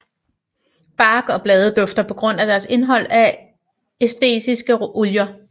Bark og blade dufter på grund af deres indhold af æteriske olier